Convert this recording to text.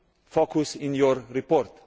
focus in your report.